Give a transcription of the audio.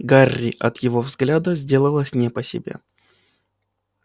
гарри от его взгляда сделалось не по себе